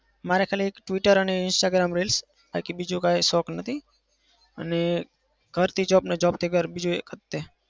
મારે ખાલી twitter અને instagram reels બાકી બીજું કોઈ શોખ નથી. અને ઘરથી job અને job થી ઘર બીજું